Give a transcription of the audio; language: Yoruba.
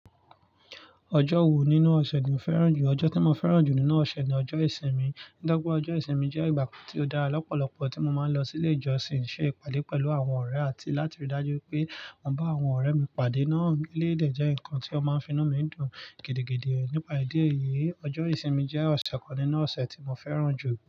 Ọjọ́ wo nínú ọ̀sẹ̀ ni o fẹ́ràn jù? Ọjọ́ tí mo fẹ́ràn jù nínú ọ̀sẹ̀ ni ọjọ́ ìsinmi. Nítorí pé ọjọ́ ìsinmi jẹ́ ìgbà kan tí ó dára lọ́pọ̀lọpọ̀, tí mo máa ń lọ sí ilé ìjọsìn, ṣé ìpàdé pẹ̀lú àwọn ọ̀rẹ́ àti láti rí i dájú pé mo ń bá àwọn ọ̀rẹ́ mi pàdé. Náà elé dè jẹ́ nǹkan tí ó máa ń fi inú mi dùn gidigidi. Nípa ìdí èyí, ọjọ́ ìsinmi jẹ́ ọ̀sẹ̀ kan nínú ọ̀sẹ̀ tí mo fẹ́ràn jù.